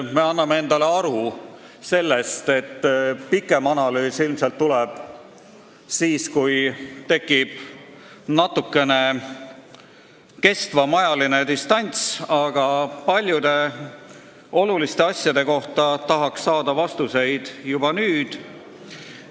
Me anname endale aru, et pikem analüüs tuleb ilmselt siis, kui tekib natukene kestvam ajaline distants, aga paljude oluliste asjade kohta tahaks saada vastuseid juba nüüd.